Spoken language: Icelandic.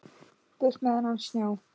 Burt með þennan snjó.